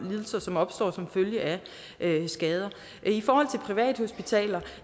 lidelser som opstår som følge af skader i forhold til privathospitalerne